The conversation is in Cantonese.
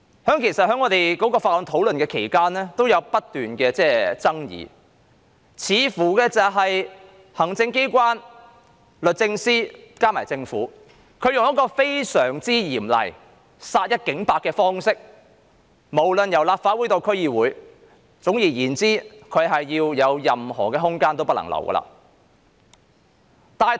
在《條例草案》審議期間爭議不斷，因為行政機關、律政司和政府採用非常嚴厲的方式，意圖殺一儆百，無論是立法會或區議會，總之不留任何空間。